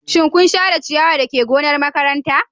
Shin kun share ciyawa dake gonar makaranta?